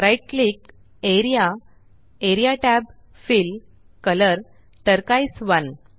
right click A R E A A R E A tab fill colour turquoise 1